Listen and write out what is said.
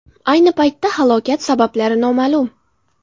Ayni paytda halokat sabablari noma’lum.